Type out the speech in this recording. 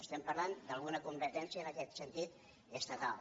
estem parlant d’una competència en aquest sentit estatal